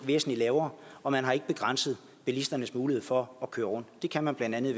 væsentlig lavere og man har ikke begrænset bilisternes mulighed for at køre det kan man blandt andet